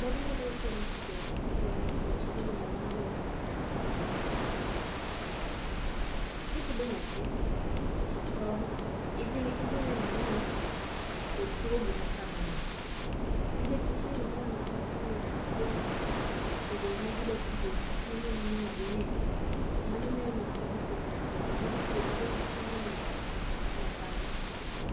Ber ma iyudo kuom timo tijni en ni, kipidho nyathi to idhi neno ni otieko gi ma ochamo no. Nikech nitie nyithindo ma ki imiyo gi chiemo to seche go ema gi dwa tugo gi chiemo ma imiyo gi ni to mano mino ni ok gi dhi tieko chiemo gi dhi tugo atuga gi chiemo ni,